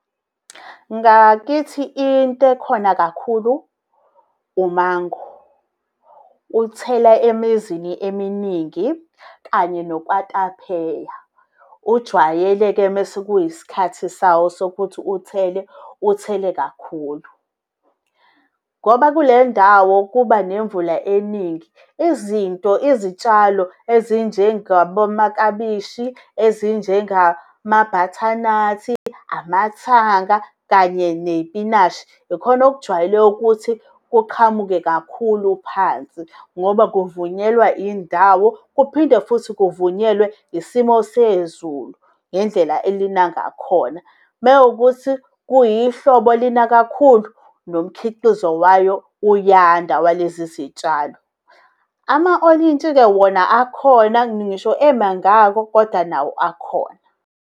Ngakithi into ekhona kakhulu, u-mango, uthela emizini eminingi kanye nokwatapheya ujwayele-ke mesekuyisikhathi sawo sokuthi uthele, uthele kakhulu. Ngoba kule ndawo kubanemvula eningi. Izinto, izitshalo ezinjengabo makabishi, ezinjengama butternut-i, amathanga kanye nezipinashi. Ikhona okujwayele ukuthi kuqhamuke kakhulu phansi, ngoba kuvunyelwa indawo kuphinde futhi kuvunyelwe isimo sezulu ngendlela elina ngakhona. Mewukuthi kuyihlobo lina kakhulu, nomkhiqizo wayo uyanda walezi zitshalo amawolintshi-ke wona akhona ngisho emangako kodwa nawo akhona